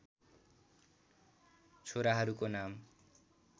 छोराहरूको नाम